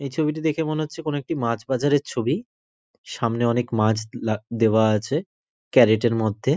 এই ছবিটিতে দেখে মনে হচ্ছে কোন একটি মাছ বাজারের ছবি। সামনে অনেক মাছ লা দেওয়া আছে ক্যারেট -এর মধ্যে।